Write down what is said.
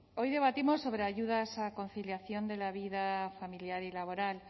hoy debatimos sobre ayudas a conciliación de la vida familiar y laboral